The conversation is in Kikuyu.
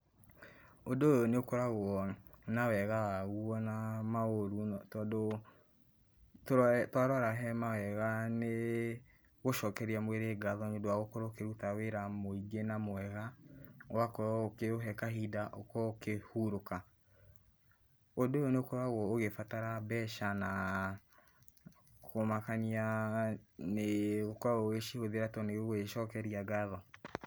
Ũndũ ũyũ nĩũkoragũo, na wega waguo naa maũru nog, tondũũ, tũrore, twarora hemawega, nĩĩ, gũcokeria mwĩrĩ ngatho nĩũndũ wa gũkorũo ũkĩruta wĩra mũingĩ na mwega, ũgakorũo ũkĩũhe kahinda ũkorũo ũkĩhurũka. Ũndũ ũyũ nĩũkoragũo ũgĩbatara mbeca naa, kũmakaniaa, nĩĩ, ũkoragũo ũgĩcihũthĩra tondũ nĩũgũĩcokeria ngatho.